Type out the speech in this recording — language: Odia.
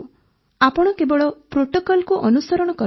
ଆପଣ କେବଳ ପ୍ରୋଟୋକଲ୍କୁ ଅନୁସରଣ କରନ୍ତୁ